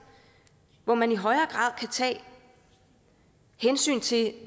hvor man i højere grad kan tage hensyn til